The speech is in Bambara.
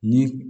Ni